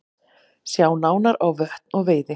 Sjá nánar á Vötn og veiði